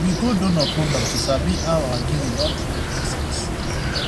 we go donor program to sabi how our giving don truly make sense